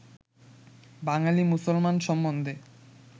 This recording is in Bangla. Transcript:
বাঙালী মুসলমান সম্বন্ধে